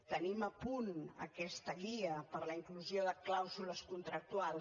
tenim a punt aquesta guia per a la inclusió de clàusules contractuals